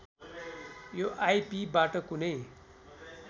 यो आइपिबाट कुनै